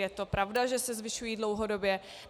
Je to pravda, že se zvyšují dlouhodobě.